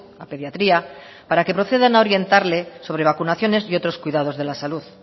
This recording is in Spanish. a pediatría para que procedan a orientarle sobre vacunaciones y otros cuidados de la salud